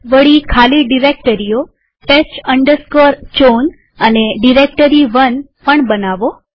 વળી ખાલી ડિરેક્ટરીઓ test chown અને ડાયરેક્ટોટી1 પણ બનાવો